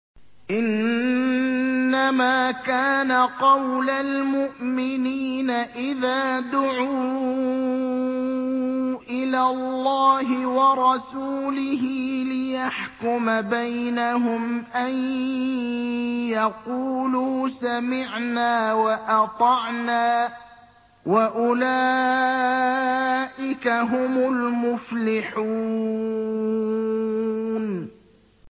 إِنَّمَا كَانَ قَوْلَ الْمُؤْمِنِينَ إِذَا دُعُوا إِلَى اللَّهِ وَرَسُولِهِ لِيَحْكُمَ بَيْنَهُمْ أَن يَقُولُوا سَمِعْنَا وَأَطَعْنَا ۚ وَأُولَٰئِكَ هُمُ الْمُفْلِحُونَ